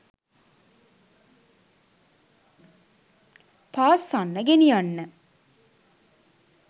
පාස්සන්න ගෙනියන්න